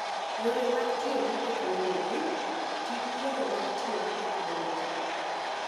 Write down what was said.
Yore mag Tiyo gi Teknoloji: Ti gi yore mag tiyo gi teknoloji.